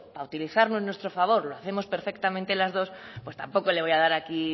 para utilizarlo en nuestro favor lo hacemos perfectamente las dos tampoco le voy a dar aquí